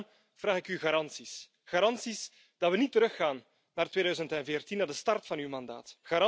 Daarom vraag ik u garanties, garanties dat we niet teruggaan naar 2014, naar de start van uw mandaat.